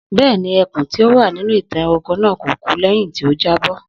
Bẹ́ẹ̀ni, ẹkùn tí ó wà nínú ìtàn ẹranko náà kò kú lẹ́yìn tí ó jábó